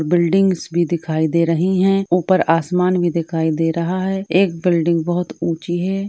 Buildings भी दिखाई दे रही हैं ऊपर आसमान भी दिखाई दे रहा है। एक बिल्डिंग बहोत ऊँची है।